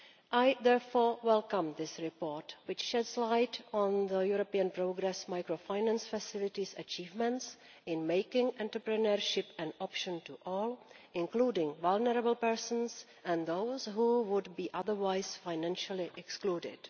I therefore welcome this report, which sheds light on the European Progress Microfinance Facility's achievements in making entrepreneurship an option for all, including vulnerable persons and those who would be otherwise financially excluded.